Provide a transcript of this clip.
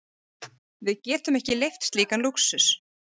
Við getum ekki leyft slíkan lúxus.